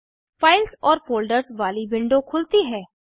files और folders वाली window खुलती है